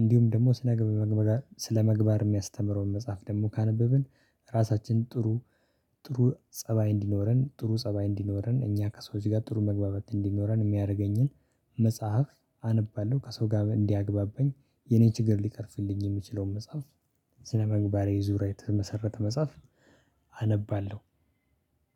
እንዲሁም ደግሞ ስለመግባብ ስለመግባብ የሚያስተምረውን መጽሐፍ ደግሞ ካነበብን። ራሳችን ጥሩ ጥሩ ፀባይ እንዲኖረን ጥሩ ፀባይ እንዲኖረን እኛ ከሰዎች ጋር ጥሩ መግባባት እንዲኖረን የሚያደርገኝን መጽሐፍ አነባለሁ። ከሰው ጋር እንዲያግባበኝ የኔ ችግር ሊቀርፍልኝ የምችለውን መጽሐፍ። ስለመግባሬ ዙሪያ የተመሰረተ መጽሐፍ አነባለሁ።